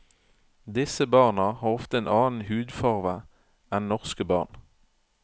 Disse barna har ofte en annen hudfarve enn norske barn.